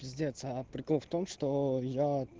пиздец а прикол в том что я